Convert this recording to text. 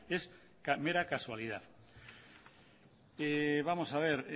es mera casualidad vamos a ver